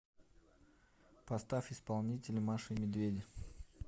поставь исполнителя маша и медведи